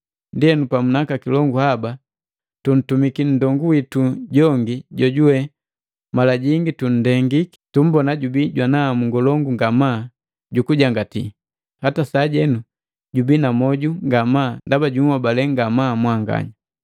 Ndienu, pamu naka kilongu haba, tutuntumiki nndongu witu jongi jojuwe, mala jingi tundengiki, tummbona jubii jwana hamu ngolongu ngamaa jukujangatila, hata sajenu jubii na moju ngamaa ndaba junhobalee ngamaa mwanganya.